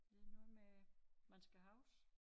Det noget med man skal huske